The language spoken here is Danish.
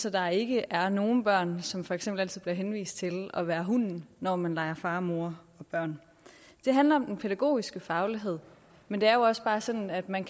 at der ikke er nogen børn som for eksempel altid bliver henvist til at være hunden når man leger far og mor og børn det handler om den pædagogiske faglighed men det er jo også bare sådan at man